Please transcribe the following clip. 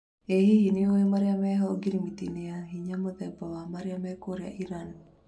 Ĩ hihi nĩũĩ maria meho ngirimiti-inĩ ya hinya mũthemba wa niukiria wa Iran?